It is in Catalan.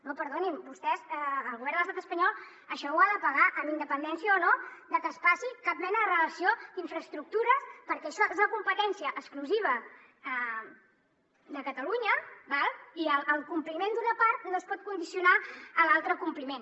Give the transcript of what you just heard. no perdonin vostès el govern de l’estat espanyol això ho ha de pagar amb independència o no de que es passi cap mena de relació d’infraestructures perquè això és una competència exclusiva de catalunya i el compliment d’una part no es pot condicionar a l’altre compliment